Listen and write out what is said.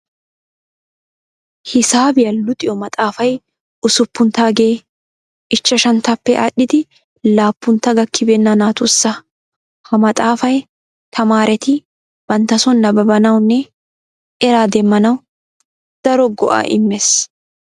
Hisaabiya luxiyo maxxaafay usuppunttaagee ichchashanttappe aadhdhidi laappuntta gakkibeenna naatussa. Ha maaxaafay tamaareti bantta son nababanawunne eraa demmanawu daro go'aa immees.